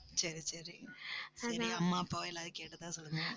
சரி, சரி. சரி அம்மா அப்பாவை எல்லாரையும் கேட்டதா சொல்லுங்க